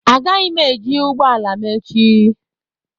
Agaghị m eji ụgbọ ala m echi